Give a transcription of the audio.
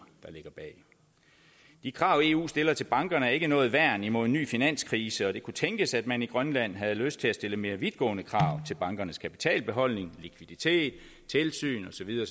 der ligger bag de krav eu stiller til bankerne er ikke noget værn imod en ny finanskrise det kunne tænkes at man i grønland havde lyst til at stille mere vidtgående krav til bankernes kapitalbeholdning likviditet tilsyn og så videre